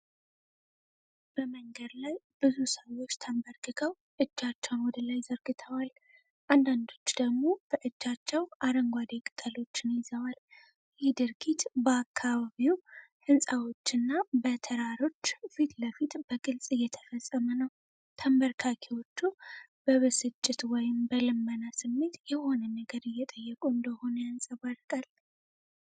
በመንገድ ላይ ብዙ ሰዎች ተንበርክከው እጆቻቸውን ወደ ላይ ዘርግተዋል። አንዳንዶቹ ደግሞ በእጃቸው አረንጓዴ ቅጠሎችን ይዘዋል። ይህ ድርጊት በአካባቢው ህንፃዎችና በተራሮች ፊት ለፊት በግልጽ እየተፈጸመ ነው። ተንበርካኪዎቹ በብስጭት ወይም በልመና ስሜት የሆነ ነገር እየጠየቁ እንደሆነ ያንጸባርቃል።